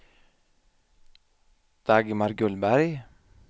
Dagmar Gullberg